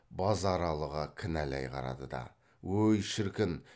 базаралыға кінәлай қарады да ой шіркін